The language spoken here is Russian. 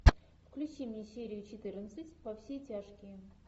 включи мне серию четырнадцать во все тяжкие